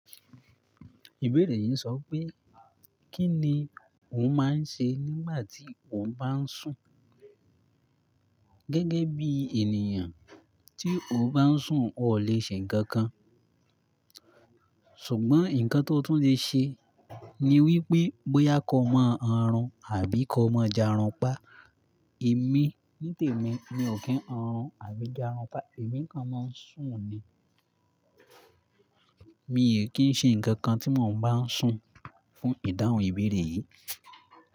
Ìbéèrè yìí sọ wipé, kí ni o máa ń ṣe nígbà tí o bá ń sùn? Gẹ́gẹ́ bí ènìyàn, tí o bá ń sùn o lè ṣe nǹkan kan, ṣùgbọ́n ǹnkan tó tún lè ṣe ni wípé bóyá kọ́ máa ń ha run àbí kọ́ máa ń ja run pa. Èmi ní tèmi mi ò kí ń ha run àbí ja run pa, èmi kàn máa ń sùn ni. Mi ò kí ń ṣe nǹkan kan tí mò n bá ń sùn fún ìdáhùn ìbéèrè yìí.